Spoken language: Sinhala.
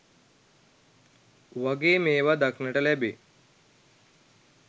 වගේ මේවා දක්නට ලැබේ.